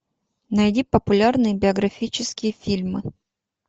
найди популярные биографические фильмы